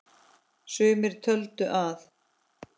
Sumir töldu að